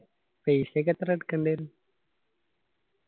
paisa ക്കെ എത്ര എടുക്കണ്ടേ ന്ന്‌ .